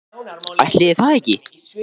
Ætli það ekki.